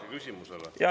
Jaa!